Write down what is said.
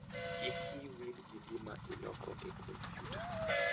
Kik wiyi wil gi gima iloko e kompyuta.